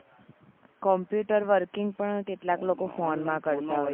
computer working પણ કેટલાક લોકો ફોન કરતા હોય છે